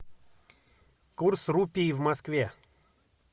курс рупий в москве